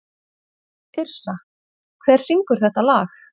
Yrsa, hver syngur þetta lag?